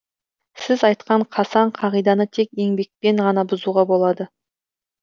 сіз айтқан қасаң қағиданы тек еңбекпен ғана бұзуға болады